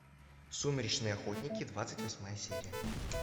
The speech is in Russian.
сумеречные охотники двадцать восьмая серия